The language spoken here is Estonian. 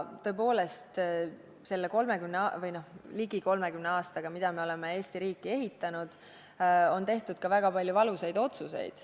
Tõepoolest, selle ligi 30 aastaga, mil me oleme Eesti riiki ehitanud, on tehtud ka väga palju valusaid otsuseid.